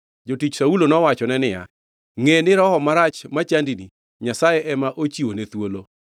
Jotich Saulo nowachone niya, “Ngʼe ni roho marach machandini, Nyasaye ema ochiwone thuolo.